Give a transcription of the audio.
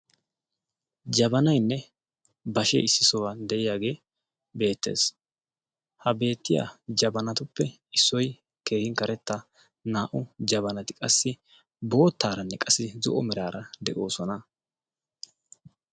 Jabaanayinne bashshee issi ohuwaan de'iyaagee beettes. ha beettiyaa jabanatuppe issoy keehin karettaa naa"u jabanaati qassi boottaranne zo'o meraara de"oosona.